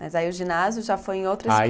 Mas aí o ginásio já foi em outra aí